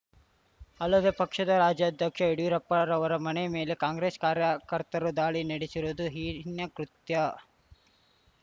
ಅಲ್ಲದೆ ಪಕ್ಷದ ರಾಜ್ಯಾಧ್ಯಕ್ಷ ಯಡಿಯೂರಪ್ಪರವರ ಮನೆ ಮೇಲೆ ಕಾಂಗ್ರೆಸ್‌ ಕಾರ್ಯಕರ್ತರು ದಾಳಿ ನಡೆಸಿರುವುದು ಹೀನ ಕೃತ್ಯ